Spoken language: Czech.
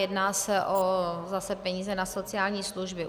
Jedná se o peníze na sociální služby.